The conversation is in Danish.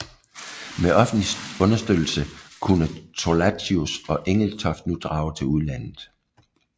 Med offentlig understøttelse kunne Thorlacius og Engelstoft nu drage til udlandet